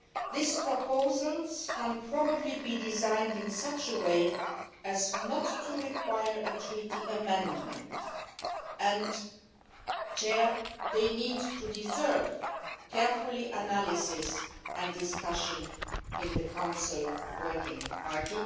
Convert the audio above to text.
These proposals can probably be designed in such a way as not to require a Treaty amendment and they deserve careful analysis and discussion in the Council working party.